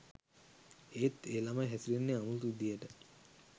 එත් ඒ ළමයි හැසිරෙන්නේ අමුතු විදිහට